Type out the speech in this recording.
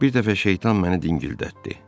Bir dəfə şeytan məni dingildətdi.